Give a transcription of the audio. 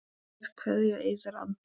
Kær kveðja, Eiður Andri.